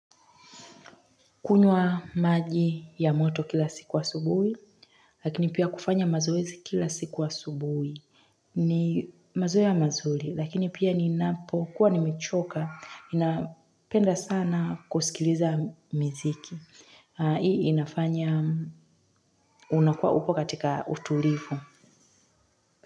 Kunywa maji ya moto kila siku asubuhi, lakini pia kufanya mazoezi kila siku asubuhi. Ni mazoea mazuri, lakini pia ninapo, kuwa nimechoka, inapenda sana kusikiliza miziki. Hii inafanya, unakua upo katika utulivu.